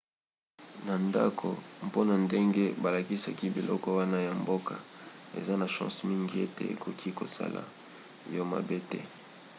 na ndako mpona ndenge balakisaki biloko wana ya mboka eza na chance mingi ete ekoki kosala yo mabe te